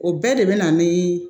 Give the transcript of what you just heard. O bɛɛ de bɛ na ni